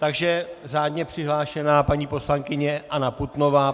Takže řádně přihlášená paní poslankyně Anna Putnová.